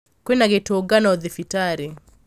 Kwĩna gĩtungano thibitarĩ